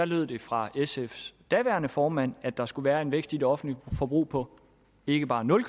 lød det fra sfs daværende formand at der skulle være en vækst i det offentlige forbrug på ikke bare nul